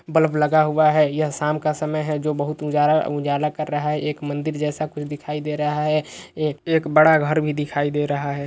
Bulb लगा हुआ है। यह शाम का समय है जो बहुत उजाला-उजाला कर रहा है। एक मंदिर जैसा कुछ दिखाई दे रहा है ए-एक बड़ा घर भी दिखाई दे रहा है।